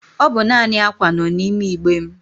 Ọ bụ naanị ákwà nọ n'ime igbe m.